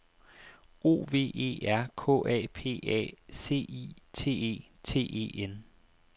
O V E R K A P A C I T E T E N